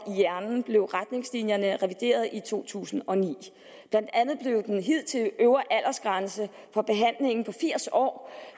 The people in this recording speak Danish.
i hjernen blev retningslinjerne revideret i to tusind og ni blandt andet blev den hidtidige øvre aldersgrænse for behandlingen på firs år